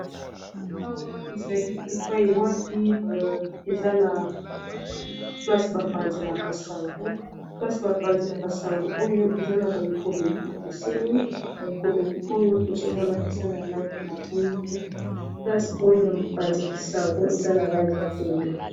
Awa ezali epai wapi eza na place ba panzelaka sango place bapanzelaka sango oyo eza na ba ekomeli ekiseni ba ekomeli oyo tozomona eza na langi ya mwindu place oyo mipanzeli sango eza na langi ya pembe.